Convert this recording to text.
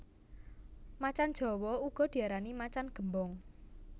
Macan jawa uga diarani macan gémbong